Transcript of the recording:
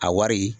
A wari